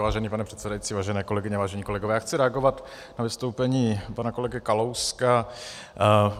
Vážený pane předsedající, vážené kolegyně, vážení kolegové, já chci reagovat na vystoupení pana kolegy Kalouska.